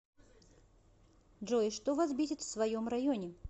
джой что вас бесит в своем районе